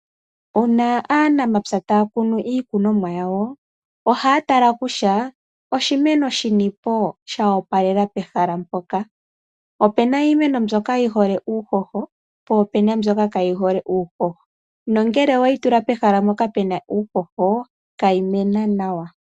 Uuna aanamapya ta ya kunu iikunomwa yawo oha ya tala kutya oshimeno shi ni po sha opalela pehala mpoka. Opuna iimeno mbyoka yi hole uuhoho, po opu na mbyoka kayi hole uuhoho, nongele iwe yi tula pehala mpoka puna uuhoho itayi mene nawa.